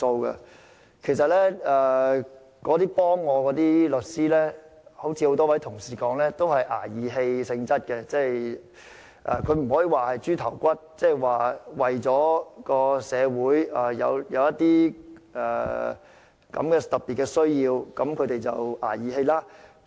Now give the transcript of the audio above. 那些協助我的律師，正如多位同事所說，均是"捱義氣"性質，雖然不能說這些案件是"豬頭骨"，但他們是為了社會有這些特別需要而"捱義氣"。